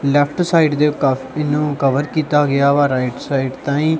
left side ਦੇ ਕਾਫੀ ਨੂੰ ਕਵਰ ਕੀਤਾ ਗਿਆ ਵਾ ਰਾਈਟ ਸਾਈਡ ਤਾਹੀ--